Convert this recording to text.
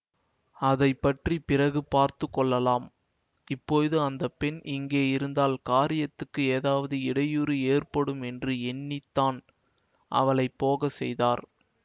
அதை பற்றி பிறகு பார்த்து கொள்ளலாம் இப்போது அந்த பெண் இங்கே இருந்தால் காரியத்துக்கு ஏதாவது இடையூறு ஏற்படுமென்று எண்ணித்தான் அவளை போக செய்தார்